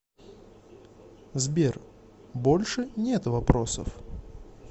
сбер больше нет вопросов